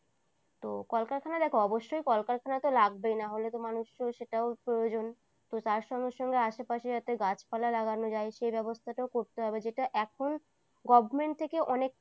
তো কলকারখানা দেখো অবশ্যই কলকারখানা তো লাগবেই না হলে তো মানুষের তো সেটাও প্রয়োজন তো তার সঙ্গে সঙ্গে আশেপাশে যাতে গাছপালা লাগানো যায় সে ব্যবস্থাটাও করতে হবে যেটা এখন government থেকে অনেক